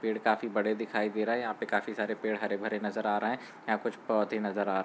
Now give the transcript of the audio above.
पेड़ काफी बड़े दिखाई दे रहे। यहाँ पे काफी सारे पेड़ हरे भरे नजर आ रहे। यहाँ पे कुछ पौधे नजर आ रहे --